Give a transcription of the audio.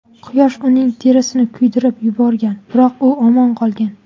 Quyosh uning terisini kuydirib yuborgan, biroq u omon qolgan.